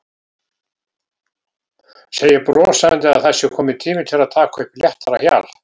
Segir brosandi að það sé kominn tími til að taka upp léttara hjal.